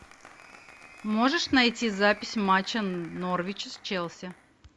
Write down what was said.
можешь найти запись матча норвич с челси